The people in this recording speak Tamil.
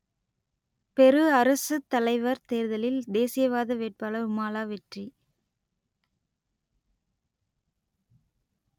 பெரு அரசுத்தலைவர் தேர்தலில் தேசியவாத வேட்பாளர் உமாலா வெற்றி